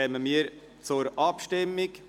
Damit kommen wir zur Abstimmung.